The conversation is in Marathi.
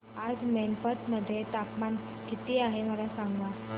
आज मैनपत मध्ये तापमान किती आहे मला सांगा